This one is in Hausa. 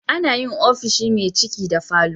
Ana yin ofishi me ciki da falo